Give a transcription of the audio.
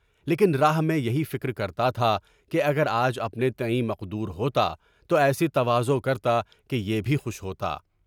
لیکن راہ میں یہی فکر کرتا تھا کہ اگر آج اپنے نصیب سے مقدور ہوتا تو میں تواضع کرتا کہ یہ بھی خوش ہوتا۔